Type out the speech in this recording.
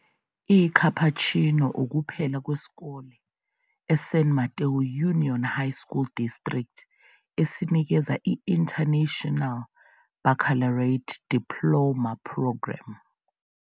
ICapuchino ukuphela kwesikole eSan Mateo Union High School District esinikeza i- International Baccalaureate Diploma Programme.